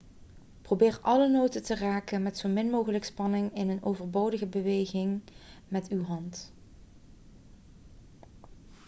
probeer alle noten te raken met zo min mogelijk spanning in en overbodige bewegingen met uw hand